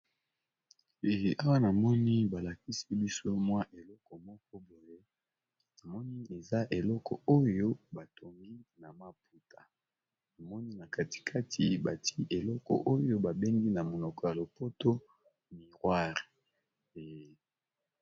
Awa na moni balakisi biso mwa eleko moko boye na moni eza eleko oyo batongi na maputa namoni na katikati bati eleko oyo babengi na monoko ya lopoto miroire.